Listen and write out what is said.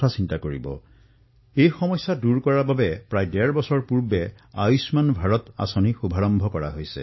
এই সমস্যা অনুধাৱন কৰি এই চিন্তা দূৰ কৰাৰ বাবেই প্ৰায় ডেৰ বৰ্ষ পূৰ্বে আয়ুষ্মান ভাৰত যোজনা আৰম্ভ কৰা হৈছিল